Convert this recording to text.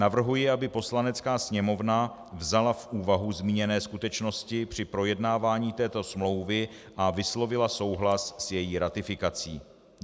Navrhuji, aby Poslanecká sněmovna vzala v úvahu zmíněné skutečnosti při projednávání této smlouvy a vyslovila souhlas s její ratifikací.